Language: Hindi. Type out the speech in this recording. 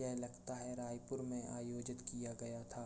ये लगता है रायपुर में आयोजित किया गया था।